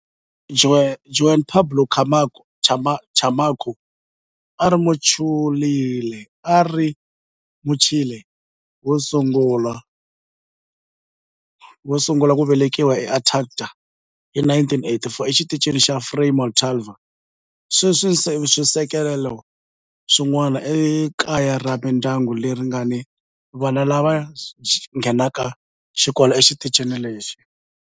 Juan Pablo Camacho a a ri Muchile wo sungula ku velekiwa eAntarctica hi 1984 eXitichini xa Frei Montalva. Sweswi swisekelo swin'wana i kaya ra mindyangu leyi nga ni vana lava nghenaka xikolo exitichini lexi.